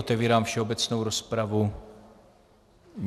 Otevírám všeobecnou rozpravu.